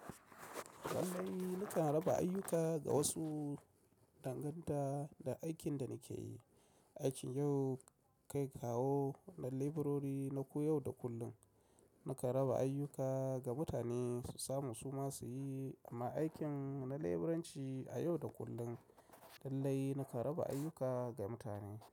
Lallai nakan raba ayyuka ga wasu, danganta da aikin da nake yi. Aikin yau kai kawo na leburori na ko yau da kullum. Nakan raba ayyuka ga mutane su samu su ma su yi, amma aikin na leburanci a yau da kullum, lallai nakan raba ayyuka ga mutane.